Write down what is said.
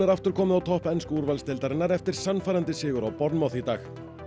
aftur komið á topp ensku úrvalsdeildarinnar eftir sannfærandi sigur á Bournemouth í dag aksel